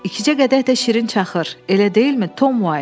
İkicə qədər də şirin çaxır, elə deyilmi, Tom White?